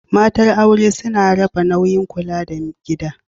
Matar aure suna raba nauyin kula da gida.